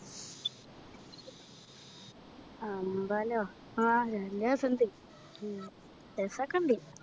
അമ്പലോ ആ നല്ല രസണ്ട് ഉം രസോക്കെ ഇണ്ട്